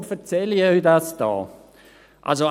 Warum erzähle ich Ihnen dies hier?